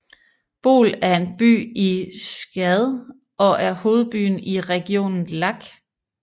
Bol er en by i Tchad og er hovedbyen i regionen Lac